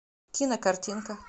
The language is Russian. кинокартинка